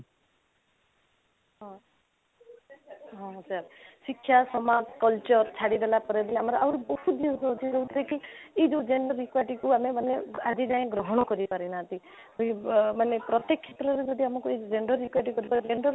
ହଁ ହଁ ହଁ sir ଶିକ୍ଷା ସମାଜ culture ଛାଡି ଦେଲା ପରେ ବି ଆହୁରି ବହୁତ ଜିନିଷ ଅଛି ଯାଉଥିରେ କି ଏଇ ଯଉ gender equity କୁ ଆମେ ମାନେ ଆଜି ଯାଏ ଗ୍ରହଣ କରି ପାରି ନାହାନ୍ତି ଏଇ ଅଃ ମାନେ ପ୍ରତେକ କ୍ଷେତ୍ରରେ ଯଦି ଆମକୁ ଏଇ gender equity କୁ gender